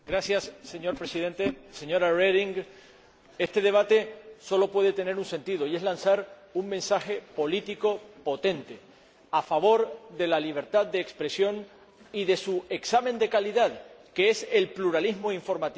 Señor Presidente, señora Reding, este debate sólo puede tener un sentido lanzar un mensaje político potente a favor de la libertad de expresión y de su examen de calidad, que es el pluralismo informativo.